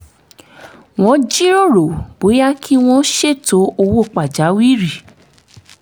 wọ́n jíròrò bóyá kí wọ́n ṣètò owó pàjáwìrì